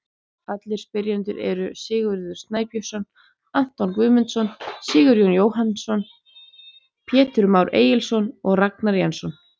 Aðrir spyrjendur eru: Sigurður Snæbjörnsson, Anton Guðmundsson, Sigurjón Jóhannsson, Pétur Már Egilsson og Ragnar Jensson.